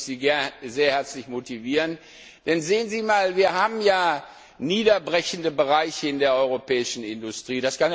Dazu möchte ich Sie sehr herzlich motivieren. Denn wir haben ja niederbrechende Bereiche in der europäischen Industrie.